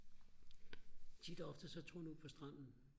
tit og ofte så tog han ud på stranden